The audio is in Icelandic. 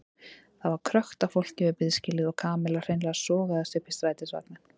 Það var krökkt af fólki við biðskýlið og Kamilla hreinlega sogaðist upp í strætisvagninn.